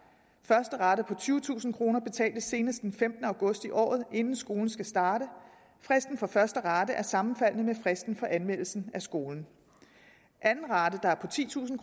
første rate på tyvetusind kroner betales senest den femtende august i året inden skolen skal starte fristen for første rate er sammenfaldende med fristen for anmeldelsen af skolen anden rate der er på titusind